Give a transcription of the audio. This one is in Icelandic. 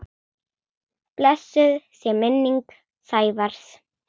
Blessuð sé minning Sævars.